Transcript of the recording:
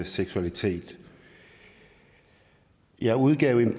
seksualitet jeg udgav